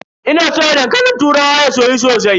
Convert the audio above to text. Ina soya dankalin turawa ya soyu sosai.